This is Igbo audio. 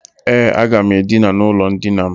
E, aga m Edina n' ulo ndina m.